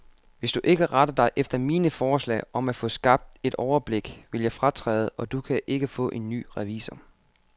Hvis du ikke retter dig efter mine forslag om at få skabt et overblik, vil jeg fratræde, og du kan ikke få en ny revisor.